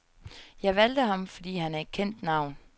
Jeg valgte ham, fordi han er et kendt navn.